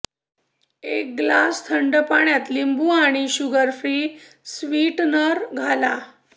एक ग्लास थंड पाण्यात लिंबू आणि शुगरफ्री स्वीटनर घाला